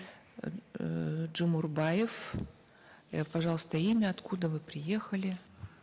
эээ джумурбаев э пожалуйста имя откуда вы приехали